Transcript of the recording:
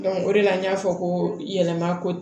o de la n y'a fɔ ko yɛlɛma ko